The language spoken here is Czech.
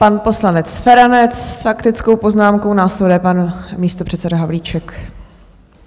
Pan poslanec Feranec s faktickou poznámkou, následuje pan místopředseda Havlíček.